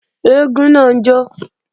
Eégún náà ń jó